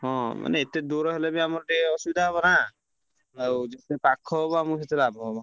ହଁ ମାନେ ଏତେ ଦୂର ହେଲେ ବି ଆମର ଟିକେ ଅସୁବିଧା ହବ ନା ଆଉ ଯେତେ ପାଖ ହବ ଆମର ସେତେ ଲାଭ ହବ।